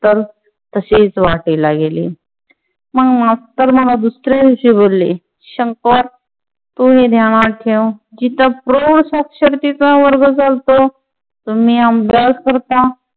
तसेच वाटेला गेले. मग मास्टर मला दुसऱ्या दिवशी बोलले, शंकर तू हे ध्यानात ठेव जिथे प्रौढ साक्षरतेचा वर्ग चालतो. तुम्ही अभ्यास करता